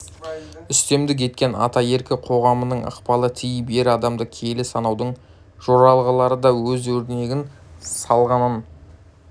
үстемдік еткен атаеркі қоғамының ықпалы тиіп ер адамды киелі санаудың жоралғылары да өз өрнегін салғанын